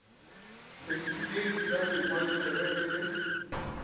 setifikeiti sa boingwadišo ge e